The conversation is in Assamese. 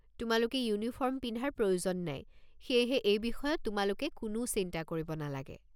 তোমালোকে ইউনিফৰ্ম পিন্ধাৰ প্ৰয়োজন নাই, সেয়েহে এই বিষয়ত তোমালোকে কোনো চিন্তা কৰিব নালাগে।